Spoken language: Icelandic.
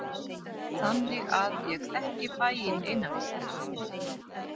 Þannig að ég þekki bæinn innanfrá.